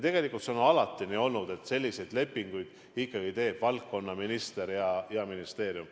Tegelikult on see alati nii olnud, et selliseid lepinguid teevad ikkagi vastava valdkonna minister ja ministeerium.